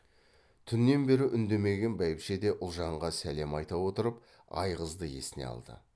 түннен бері үндемеген бәйбіше де ұлжанға сәлем айта отырып айғызды есіне алды